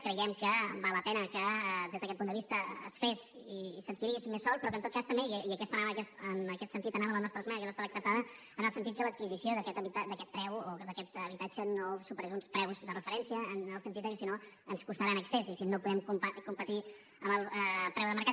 creiem que val la pena que des d’aquest punt de vista es fes i s’adquirís més sòl però que en tot cas també i en aquest sentit anava la nostra esmena que no ha estat acceptada en el sentit que l’adquisició d’aquest preu o d’aquest habitatge no superés uns preus de referència en el sentit de que si no ens costarà en excés i si no podem competir amb el preu de mercat